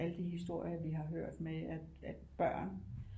Alle de historier vi har hørt med at børn